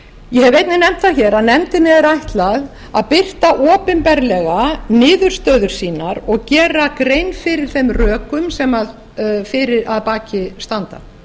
ég hef einnig nefnt það hér að nefndinni er ætlað að birta opinberlega niðurstöður sínar og gera grein fyrir þeim rökum sem að standa